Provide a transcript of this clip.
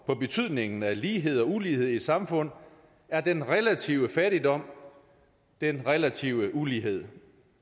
på betydningen af lighed og ulighed i et samfund er den relative fattigdom den relative ulighed